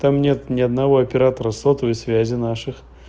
там нет ни одного оператора сотовой связи наших